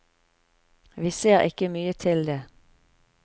Vi ser ikke mye til det.